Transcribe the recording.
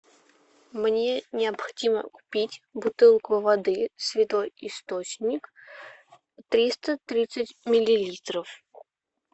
мне необходимо купить бутылку воды святой источник триста тридцать миллилитров